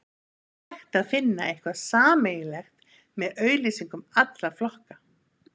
En er hægt að finna eitthvað sameiginlegt með auglýsingum allra flokka?